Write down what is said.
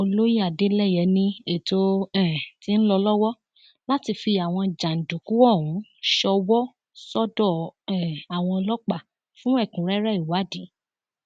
olóye adeleye ni ètò um ti ń lọ lọwọ láti fi àwọn jàǹdùkú ọhún ṣòwò sọdọ um àwọn ọlọpàá fún ẹkúnrẹrẹ ìwádìí